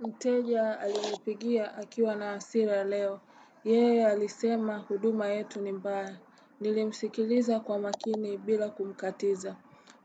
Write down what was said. Mteja alinipigia akiwa na hasira leo. Yee alisema huduma yetu ni mbaya. Nilimsikiliza kwa makini bila kumkatiza.